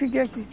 Fiquei aqui.